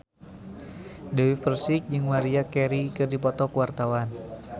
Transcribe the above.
Dewi Persik jeung Maria Carey keur dipoto ku wartawan